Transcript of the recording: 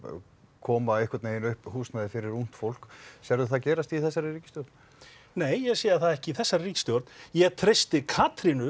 koma upp húsnæði fyrir ungt fólk sérðu það gerast í þessari ríkisstjórn nei ég sé það ekki í þessari ríkisstjórn ég treysti Katrínu